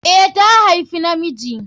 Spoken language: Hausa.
A, ta haifi na miji